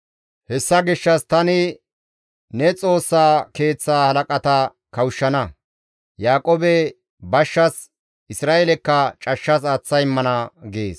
Hessa gishshas tani ne Xoossa Keeththa halaqata kawushshana; Yaaqoobe bashshas, Isra7eelekka cashshas aaththa immana» gees.